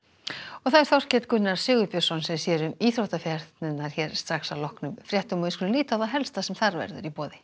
og Þorkell Gunnar Sigurbjörnsson sér um íþróttafréttirnar hér strax að loknum fréttum við skulum líta á það helsta sem þar verður